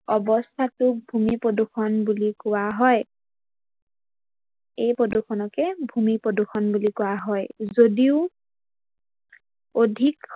অৱস্থাটোক ভূমি প্ৰদূৰ্ষন বুলি কোৱা হয়। এই প্ৰদূৰ্ষনকে ভূমি প্ৰদূৰ্ষন বুলি কোৱা হয় যদিও অধিক